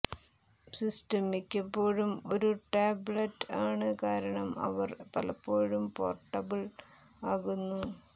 system മിക്കപ്പോഴും ഒരു tablet ആണ് കാരണം അവർ പലപ്പോഴും പോർട്ടബിൾ ആകുന്നു